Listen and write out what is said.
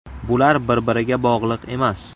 Bular bir-biriga bog‘liq emas.